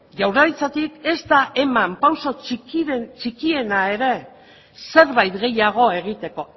jaurlaritzarik ez da eman pausu txikiena ere zerbait gehiago egiteko